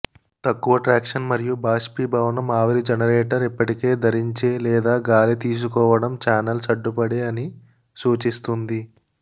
తక్కువ ట్రాక్షన్ మరియు బాష్పీభవనం ఆవిరి జెనరేటర్ ఇప్పటికే ధరించే లేదా గాలి తీసుకోవడం చానెల్స్ అడ్డుపడే అని సూచిస్తుంది